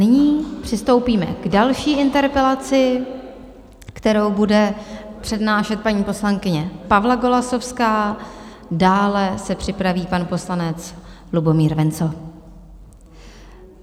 Nyní přistoupíme k další interpelaci, kterou bude přednášet paní poslankyně Pavla Golasowská, dále se připraví pan poslanec Lubomír Wenzl.